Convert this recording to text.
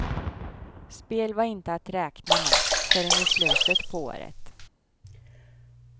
Spel var inte att räkna med förrän i slutet på året.